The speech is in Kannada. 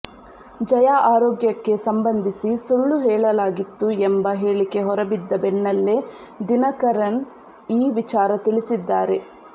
ಜಯಾ ಆರೋಗ್ಯಕ್ಕೆ ಸಂಬಂಧಿಸಿ ಸುಳ್ಳು ಹೇಳಲಾಗಿತ್ತು ಎಂಬ ಹೇಳಿಕೆ ಹೊರಬಿದ್ದ ಬೆನ್ನಲ್ಲೇ ದಿನಕರನ್ ಈ ವಿಚಾರ ತಿಳಿಸಿದ್ದಾರೆ